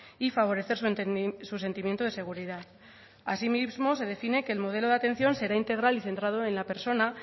y favorecer su sentimiento de seguridad asimismo se define que el modelo de atención será integral y centrado en la persona